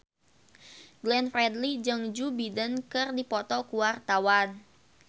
Glenn Fredly jeung Joe Biden keur dipoto ku wartawan